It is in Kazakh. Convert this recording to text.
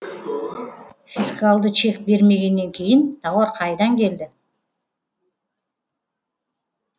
фискалды чек бермегеннен кейін тауар қайдан келді